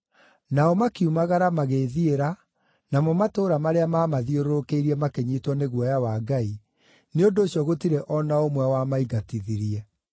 Nao makiumagara, magĩĩthiĩra, namo matũũra marĩa maamathiũrũrũkĩirie makĩnyiitwo nĩ guoya wa Ngai, nĩ ũndũ ũcio gũtirĩ o na ũmwe wamaingatithirie.